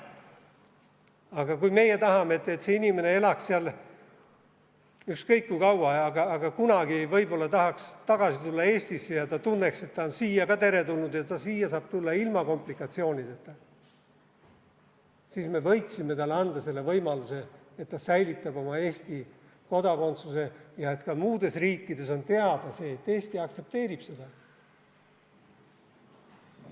Aga kui meie tahame, et see inimene elaks seal ükskõik kui kaua, aga kunagi võib-olla tahaks tagasi Eestisse tulla ja ta tunneks, et ta on siia ka teretulnud ja ta saab siia tulla ilma komplikatsioonideta, siis me võiksime talle anda selle võimaluse, et ta säilitab oma Eesti kodakondsuse ja et ka muudes riikides on teada see, et Eesti aktsepteerib seda.